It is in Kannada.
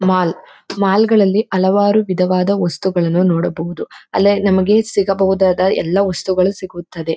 ಮಾಲ್ ಮಾಲ್ಗಳಲ್ಲಿ ಹಲವಾರು ವಿಧವಾದ ವಸ್ತುಗಳನ್ನು ನೋಡಬಹುದು ಅಲ್ಲೇ ನಮಗೆ ಸಿಗಬಹುದಾದ ಎಲ್ಲಾ ವಸ್ತುಗಳು ಸಿಗುತ್ತದೆ